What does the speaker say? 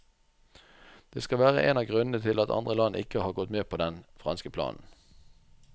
Det skal være en av grunnene til at andre land ikke har gått med på den franske planen.